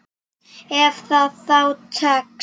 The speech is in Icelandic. Ef það þá tekst.